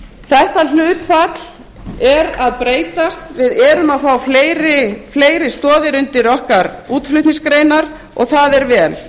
þetta hlutfall er að breytast við erum að fá fleiri stoðir undir okkar útflutningsgreinar og það er vel